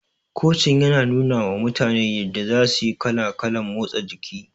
Kocin yana nunawa mutane yadda za suyi kala kalan motsa jiki